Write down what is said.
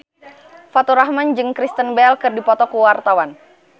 Faturrahman jeung Kristen Bell keur dipoto ku wartawan